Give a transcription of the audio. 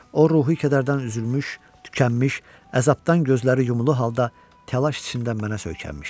O ruhi kədərdən üzülmüş, tükənmiş, əzabdan gözləri yumulu halda təlaş içində mənə söykənmişdi.